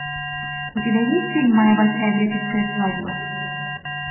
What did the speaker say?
у тебя есть фильм моя большая греческая свадьба